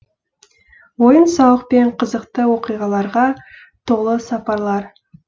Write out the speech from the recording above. ойын сауық пен қызықты оқиғаларға толы сапарлар